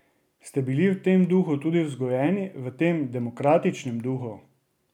Ste bili v tem duhu tudi vzgojeni, v tem demokratičnem duhu?